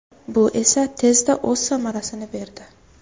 Bu esa tezda o‘z samarasini berdi.